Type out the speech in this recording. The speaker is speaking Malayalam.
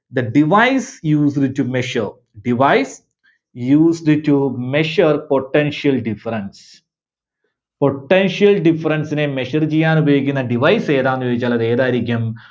the device used to measure, device used to measure potential difference Potential difference നെ measure ചെയ്യാൻ ഉപയോഗിക്കുന്ന device ഏതാന്നുചോദിച്ചാൽ അത് ഏതായിരിക്കും?